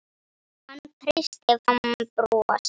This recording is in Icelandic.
Hann kreisti fram bros.